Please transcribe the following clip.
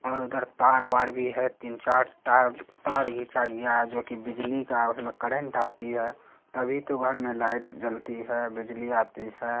और उधर तार वार भी है। तीन चार तार तार घीचा गया है जो की बिजली का उसमे करंट आती है। तभी तो घर में लाइट जलती है बिजली आती है।